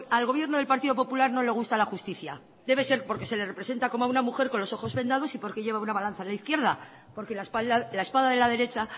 al gobierno del partido popular no le gusta la justicia debe ser porque se le representa como a una mujer con los ojos vendados y porque lleva una balanza en la izquierda porque la espada de la derecha